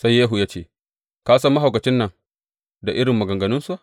Sai Yehu ya ce, Ka san mahaukacin nan da irin maganganunsa.